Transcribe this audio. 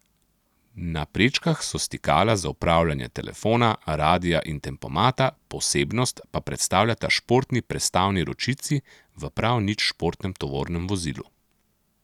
Na prečkah so stikala za upravljanje telefona, radia in tempomata, posebnost pa predstavljata športni prestavni ročici v prav nič športnem tovornem vozilu.